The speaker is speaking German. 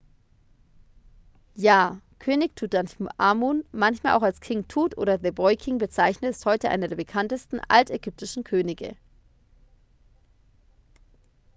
ja könig tutanchamun manchmal auch als king tut oder the boy king bezeichnet ist heute einer der bekanntesten altägyptischen könige